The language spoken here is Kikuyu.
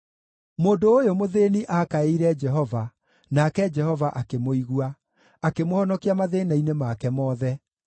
Mũndũ ũyũ mũthĩĩni aakaĩire Jehova, nake Jehova akĩmũigua, akĩmũhonokia mathĩĩna-inĩ make mothe.